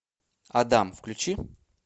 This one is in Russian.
адам включи